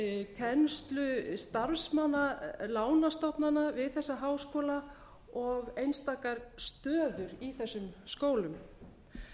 kennslunámskeið kennslu starfsmanna lánastofnana við þessa háskóla og einstakar stöður í þessum skólum